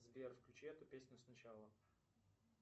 сбер включи эту песню сначала